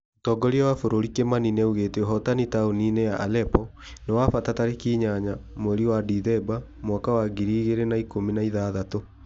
Mũtongoria wa bũrũri Kimani nĩaugĩte ũhotani taũni-inĩ ya Allepo nĩ wa bata tarĩki inyanya mweri wa Dithemba mwaka wa ngiri igĩri na ikũmi na ithathatũ